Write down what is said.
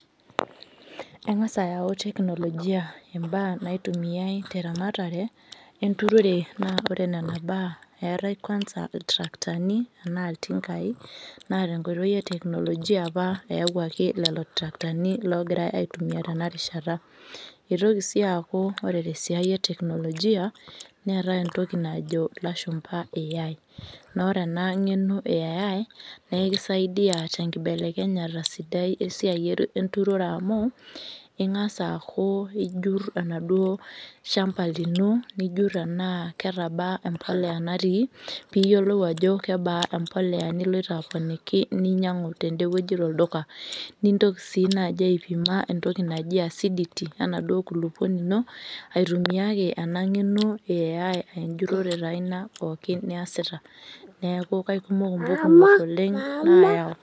Eng'asa ayau teknolojia imbaa naitumiai teramatare enturore na ore nena baa eetae kwanza iltarakitani anaa iltinkai, na tenkoitoi e teknolojia apa eawuaki lelo tarakitani logirai aitumia tenarishata. Itoki si aku ore tesiai e teknolojia ,neetae entoki najo ilashumpa Al. Na ore ena ng'eno e Al, nikisaidia tenkibelekenyata sidai esiai enturore amu, ing'asa aku ijur enaduo shamba lino, nijur enaa ketabaa empolea natii, piyiolou ajo kebaa empolea niloito aponiki ninyang'u tedewueji tolduka. Nintoki si naji aipima entoki naji acidity enaduo kulukuoni ino, aitumia ake ena ng'eno e Al ejurrore taa ina pookin niasita. Neeku kaikumok intokiting oleng nayau.